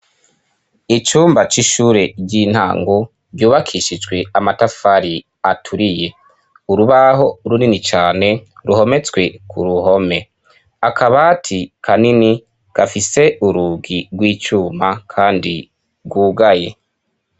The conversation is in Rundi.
Icumba c'ishure ry'intango ryubakishijwe amatafari aturiye urubaho runini cane ruhometswe ku ruhome akabati ka nini gafise urugi rw'icuma, kandi rwugaye.